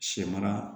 Sɛ mara